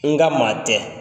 N ka maa tɛ,